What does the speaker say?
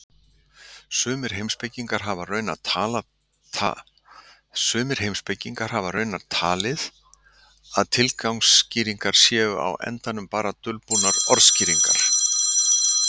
Sumir heimspekingar hafa raunar talið að tilgangsskýringar séu á endanum bara dulbúnar orsakaskýringar.